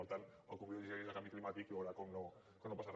per tant el convido a llegir la llei de canvi climàtic i veurà com no passa re